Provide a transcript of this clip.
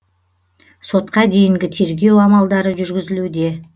сотқа дейінгі тергеу амалдары жүргізілуде